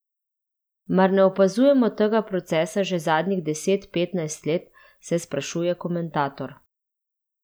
Mar ne opazujemo tega procesa že zadnjih deset, petnajst let, se sprašuje komentator.